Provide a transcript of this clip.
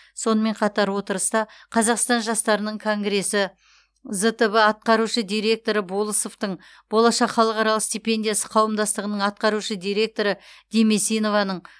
сонымен қатар отырыста қазақстан жастарының конгресі зтб атқарушы директоры болысовтың болашақ халықаралық стипендиясы қауымдастығының атқарушы директоры демесинованың